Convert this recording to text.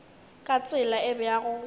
ka tsela e bjalo go